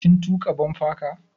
Kin tuƙa bumper car?